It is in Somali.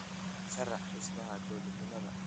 sharax dhismaha dawladnimada